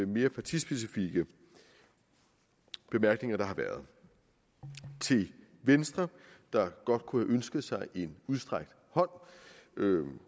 mere partispecifikke bemærkninger der har været til venstre der godt kunne have ønsket sig en udstrakt hånd